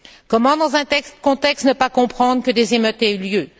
Comment, dans un tel contexte, ne pas comprendre que des émeutes aient eu lieu.